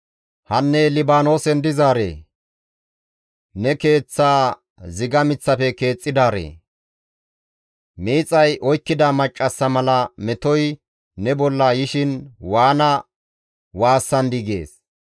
Hanne Libaanoosen dizaaree! Ne keeththaa ziga miththafe keexxidaaree! miixay oykkida maccassa mala metoy ne bolla yishin waana waassandii!» gees.